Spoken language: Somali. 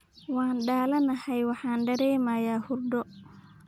Waan daalanahay, waxaan dareemayaa hurdo